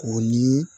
O ye